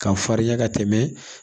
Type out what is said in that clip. K'a farinya ka tɛmɛ